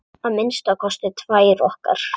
Að minnsta kosti tvær okkar.